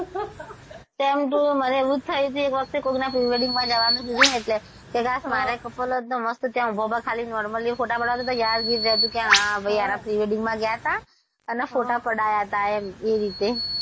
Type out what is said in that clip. same to you મને એવું થાય છે એક વખતે કોઈકના pre -wedding માં જવાનું થાય છેઃ કે કાશ મારે couple હોત તો મસ્ત ત્યાં ઊભા ઊભા normally photo પડાવતા યાદગીરી રહેતી કે હા ભઈ આના pre -wedding માં ગયા હતા અને photo પડાયા હતા એમ એ રીતે,